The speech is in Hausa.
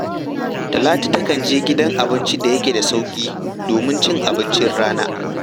Talatu takan je gidan abincin da yake da sauƙi domin ci abincin rana